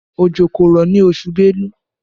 Òjò kò rọ̀ ní oṣù belú